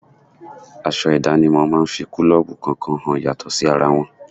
Aṣọ idanimo máa ń fi kulobu kọ̀ọ̀kan hàn yàtọ̀ sí ara wọn.